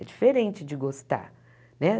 É diferente de gostar, né?